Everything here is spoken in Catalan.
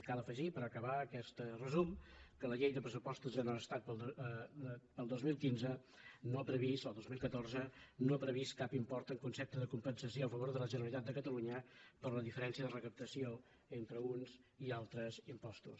cal afegir per acabar aquest resum que la llei de pressupostos generals de l’estat per al dos mil catorze no ha previst cap import en concepte de compensació a favor de la generalitat de catalunya per la diferència de recaptació entre uns i altres impostos